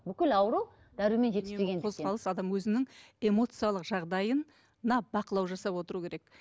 бүкіл ауру дәрумен жетіспегендіктен үнемі қозғалыс адам өзінің эмоциялық жағдайына бақылау жасап отыруы керек